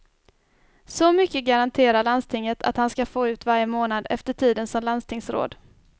Så mycket garanterar landstinget att han ska få ut varje månad efter tiden som landstingsråd.